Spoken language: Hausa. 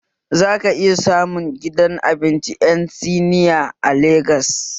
Za ka iya samun gidan abinci ƴan siniya a Legas